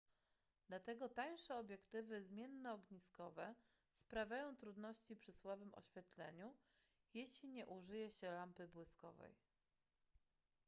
dlatego tańsze obiektywy zmiennoogniskowe sprawiają trudności przy słabym oświetleniu jeśli nie użyje się lampy błyskowej